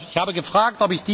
Ich habe gefragt.